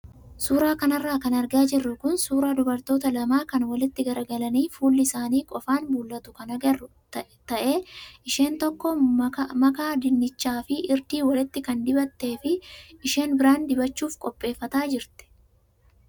Suuraa kanarra kan argaa jirru kun suuraa dubaroota lamaa kan walitti garagalanii fuulli isaanii qofaan mul'atu kan agarru ta'ee, isheen tokko makaa dinnichaa fi irdii walitti kan dibattee fi isheen biraan dibachuuf qopheeffataa jirti.